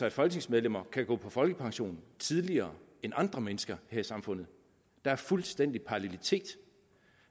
at folketingsmedlemmer kan gå på folkepension tidligere end andre mennesker her i samfundet der er fuldstændig parallelitet